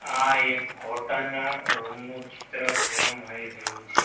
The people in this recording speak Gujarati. આ એક હોટલ ના રૂમ નું ચિત્ર જોવા મળી રહ્યું છે.